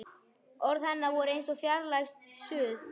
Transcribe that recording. Orð hennar voru eins og fjarlægt suð.